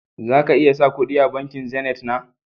Za ka iya sa kudi a bankin "zenith " na